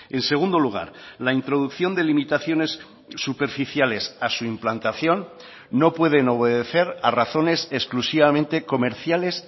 en segundo lugar la introducción de limitaciones superficiales a su implantación no pueden obedecer a razones exclusivamente comerciales